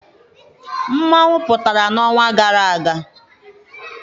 Mmanwụ pụtara n'ọnwa gara aga.